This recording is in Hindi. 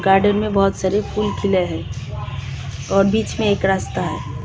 गार्डन में बहुत सारे फूल खिले हैं और बीच में एक रास्ता है.